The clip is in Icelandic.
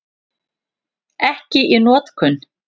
Ekki í notkun.